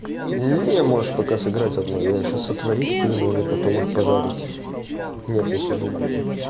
не можешь пока сыграть одно я сейчас отварю эти пельмени потом их пожарить нет не сулугуни